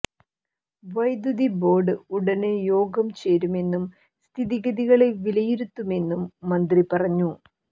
വൈദ്യുതി ബോര്ഡ് ഉടന് യോഗം ചേരുമെന്നും സ്ഥിതിഗതികള് വിലയിരുത്തുമെന്നും മന്ത്രി പറഞ്ഞു